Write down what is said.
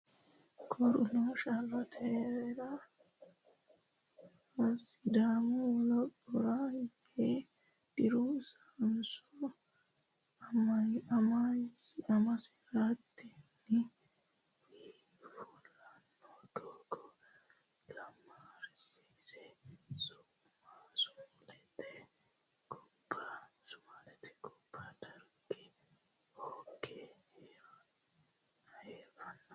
Koruno sharrote hee reena Sidaamu wolaphora yee diro sainosi amasi reyteenna wi fulanno doogo gaamaareessi Sumaalete gobba Darge hooge hee ranno.